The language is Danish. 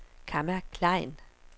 Kamma Klein